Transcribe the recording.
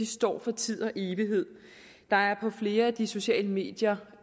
står for tid og evighed der er på flere af de sociale medier